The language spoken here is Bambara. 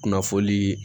Kunnafonii